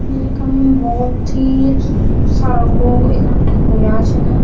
यु यखम भौत ही सारा लोग इकठ्ठा हुया छिन।